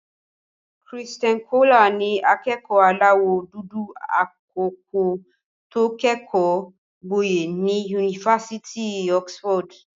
Christian Coler ni akẹ́kọ̀ọ́ aláwọ̀ dúdú àkọ́kọ́ tó kẹ́kọ̀ọ́ gboyè ní Yunifásitì Oxford.